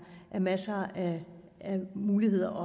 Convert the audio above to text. masser af muligheder